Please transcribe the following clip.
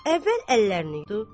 Əvvəl əllərini yudu.